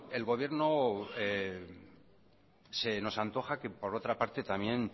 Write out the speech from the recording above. el gobierno se nos antoja que por otra parte también